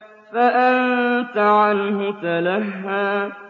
فَأَنتَ عَنْهُ تَلَهَّىٰ